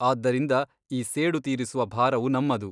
ಆದ್ದರಿಂದ ಈ ಸೇಡು ತೀರಿಸುವ ಭಾರವು ನಮ್ಮದು.